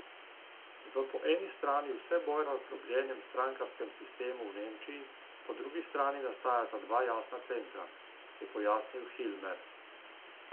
V po eni strani vse bolj razdrobljenem strankarskem sistemu v Nemčiji po drugi strani nastajata dva jasna centra, je pojasnil Hilmer.